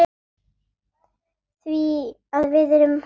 Því að við erum hús.